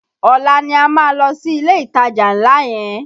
Ọ̀la ni a máa lọ sí ilé ìtajà ńlá yẹn